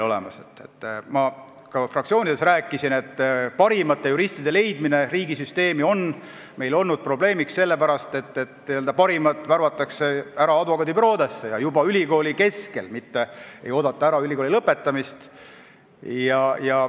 Nagu ma ka fraktsioonides rääkisin, on parimate juristide leidmine riigisüsteemi olnud meil probleemne sellepärast, et nemad värvatakse ära advokaadibüroodesse – juba ülikooli ajal, ei oodata ära isegi ülikooli lõpetamist.